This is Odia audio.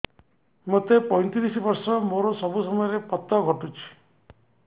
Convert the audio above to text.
ମୋତେ ପଇଂତିରିଶ ବର୍ଷ ମୋର ସବୁ ସମୟରେ ପତ ଘଟୁଛି